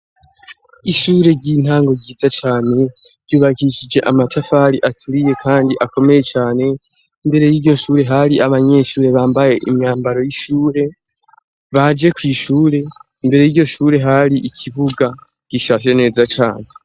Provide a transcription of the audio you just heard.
Ishure ry'intango ryiza cane ryubakishije amatafari aturiye kandi akomeye cane mbere yiryo shure hari abanyeshure bambaye imyambaro y'ishure baje kwishure mbere yiryo shure hari ikibuga gicafye neza cane.